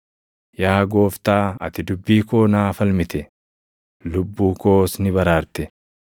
Yaa gooftaa ati dubbii koo naa falmite; lubbuu koos ni baraarte.